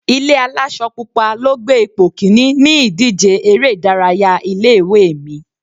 Ilé aláṣọ pupa ló gbé ipò kíní ní ìdíje eré ìdárayá ilé ìwé mi.